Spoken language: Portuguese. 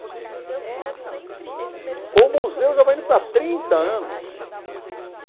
E o museu ficou sempre... Esse acervo ... O museu já vai indo para trinta anos.